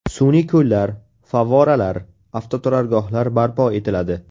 Sun’iy ko‘llar, favvoralar, avtoturargohlar barpo etiladi.